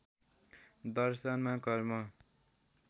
दर्शनमा कर्म